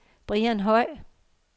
Brian Høj